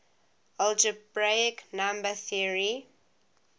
algebraic number theory